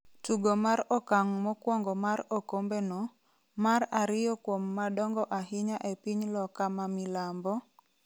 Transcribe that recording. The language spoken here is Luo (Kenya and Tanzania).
Tugo mar okang' mokwongo mar okombe no, mar ariyo kuom madongo ahinya e piny loka ma milambo,